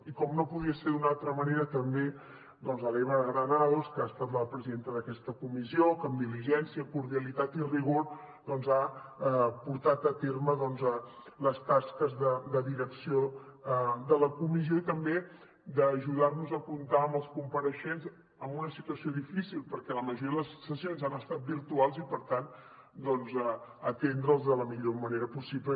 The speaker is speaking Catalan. i com no podia ser d’una altra manera també doncs l’eva granados que ha estat la presidenta d’aquesta comissió que amb diligència cordialitat i rigor ha portat a terme les tasques de direcció de la comissió i també d’ajudar nos a comptar amb els compareixents en una situació difícil perquè la majoria de les sessions han estat virtuals i per tant a atendre’ls de la millor manera possible